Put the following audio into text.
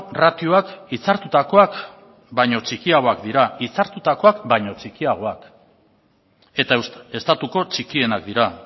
ratioak hitzartutakoak baino txikiagoak dira hitzartutakoak baino txikiagoak eta estatuko txikienak dira